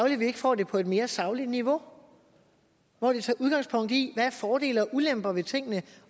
at vi ikke får det på et mere sagligt niveau hvor vi tager udgangspunkt i hvad af fordele og ulemper ved tingene